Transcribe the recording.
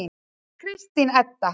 Kristín Edda.